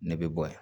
Ne bɛ bɔ yan